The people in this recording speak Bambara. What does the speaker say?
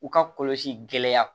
U ka kɔlɔsi gɛlɛya